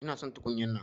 Ina son tukunya'nan.